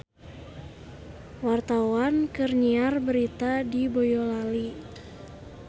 Wartawan keur nyiar berita di Boyolali